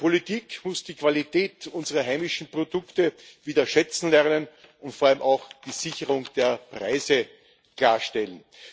Die Politik muss die Qualität unserer heimischen Produkte wieder schätzen lernen und vor allem auch die Sicherung der Preise klarstellen.